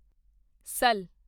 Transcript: ਸਾਲ